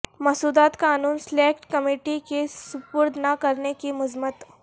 مسودات قانون select committee کے سپرد نہ کرنے کی مذمت